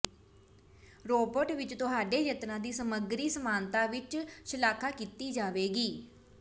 robot ਵਿਚ ਤੁਹਾਡੇ ਯਤਨਾਂ ਦੀ ਸਮੱਗਰੀ ਸਮਾਨਤਾ ਵਿਚ ਸ਼ਲਾਘਾ ਕੀਤੀ ਜਾਵੇਗੀ